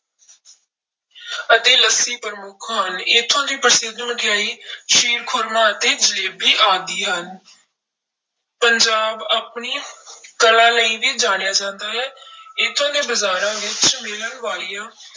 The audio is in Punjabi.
ਅਤੇ ਲੱਸੀ ਪ੍ਰਮੁੱਖ ਹਨ, ਇੱਥੋਂ ਦੀ ਪ੍ਰਸਿੱਧ ਮਠਿਆਈ ਖ਼ੀਰ ਖੁਰਮਾ ਅਤੇ ਜਲੇਬੀ ਆਦਿ ਹਨ ਪੰਜਾਬ ਆਪਣੀ ਕਲਾ ਲਈ ਵੀ ਜਾਣਿਆ ਜਾਂਦਾ ਹੈ ਇੱਥੋਂ ਦੇ ਬਾਜ਼ਾਰਾਂ ਵਿੱਚ ਮਿਲਣ ਵਾਲੀਆਂ